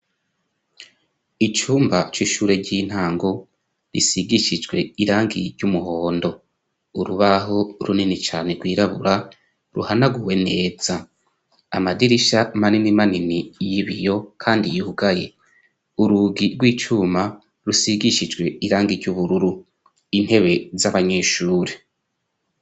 Icumba c'ishure ry'intango risigishijwe irangi ry'umuhondo urubaho runini cyane rwirabura ruhanaguwe neza . Amadirisha manini manini y'ibiyo kandi yihugaye urugi rw'icuma rusigishijwe irangi ry'ubururu intebe z'abanyeshure.